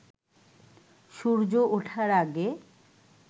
সূর্য ওঠার আগে